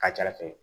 Ka ca ala fɛ